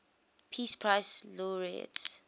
peace prize laureates